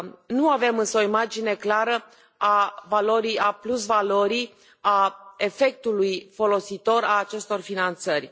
Nu avem însă o imagine clară a plusvalorii, a efectului folositor al acestor finanțări.